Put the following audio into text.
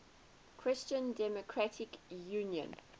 christian democratic union